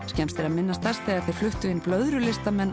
skemmst er að minnast þess þegar þeir fluttu inn